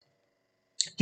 DR1